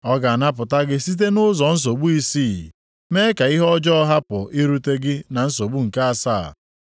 Ọ ga-anapụta gị site nʼụzọ nsogbu isii, mee ka ihe ọjọọ hapụ irute gị na nsogbu nke asaa.